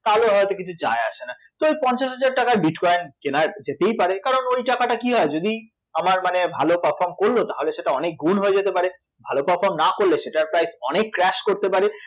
তাহলেও হয়ত কিছু যায় আসে না, তো ওই পঞ্চাশ হাজার টাকার bitcoin কেনা যেতেই পারে, কারণ ওই টাকাটা কী হয় যদি আমার মানে ভালো perform করল তাহলে সেটা অনেকগুন হয়ে যেতে পারে, ভালো perform না করলে সেটার price অনেক crash করতে পারে